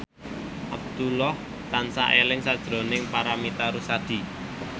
Abdullah tansah eling sakjroning Paramitha Rusady